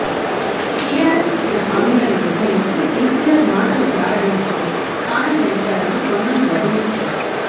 TRS ఇచ్చిన హామీలను విస్మరించి కేసీఆర్ మాటల గారడీతో కాలం గడిపారని పొన్నం ధ్వజమెత్తారు